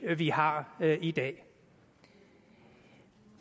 vi har i dag